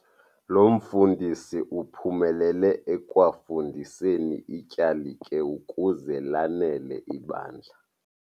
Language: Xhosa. Lo mfundisi uphumelele ekwafundiseni ityalike ukuze lanele ibandla.